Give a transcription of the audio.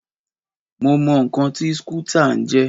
Mo mọ ǹkan tí skútà ń jẹ́.